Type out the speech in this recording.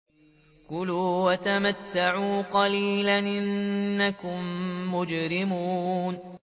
كُلُوا وَتَمَتَّعُوا قَلِيلًا إِنَّكُم مُّجْرِمُونَ